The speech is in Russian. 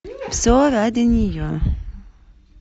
все ради нее